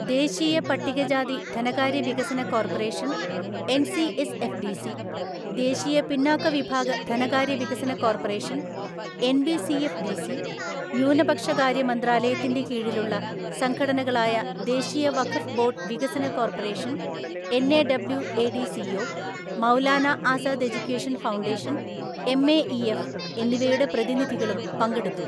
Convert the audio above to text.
ദേശീയ പട്ടികജാതി ധനകാര്യ വികസന കോർപ്പറേഷന്‍ എൻസിഎസ്എഫ്ഡിസി, ദേശീയ പിന്നാക്ക വിഭാഗ ധനകാര്യ വികസന കോർപ്പറേഷൻ എൻബിസിഎഫ്ഡിസി, ന്യൂനപക്ഷ കാര്യ മന്ത്രാലയത്തിന്റെ കീഴിലുള്ള സംഘടനകളായ ദേശീയ വഖഫ് ബോർഡ് വികസന corporation‍ NAWADCO Maulana Azad education foundation MAEF എന്നിവയുടെ പ്രതിനിധികളും പങ്കെടുത്തു.